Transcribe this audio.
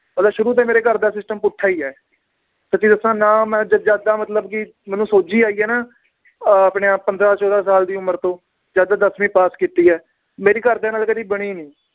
ਮਤਲਬ ਸ਼ੁਰੂ ਤੋਂ ਹੀ ਮੇਰੇ ਘਰ ਦਾ system ਪੁੱਠਾ ਈ ਏ ਸੱਚੀ ਦੱਸਾਂ ਨਾ ਮੈ ਮਤਲਬ ਕਿ ਮੈਨੂੰ ਸੋਝੀ ਆਈ ਏ ਨਾ ਅਹ ਆਪਣੇ ਆਹ ਪੰਦ੍ਰਹ ਚੋਦਾਂ ਸਾਲ ਦੀ ਉਮਰ ਤੋਂ ਜਦ ਦੱਸਵੀ ਪਾਸ ਕੀਤੀ ਏ ਮੇਰੀ ਘਰਦਿਆਂ ਨਾਲ ਕਦੇ ਬਣੀ ਨੀ